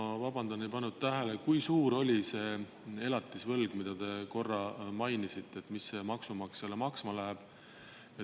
Ma vabandan, ei pannud tähele, kui suur oli see elatisvõlg, mida te korra mainisite, mis see maksumaksjale maksma läheb.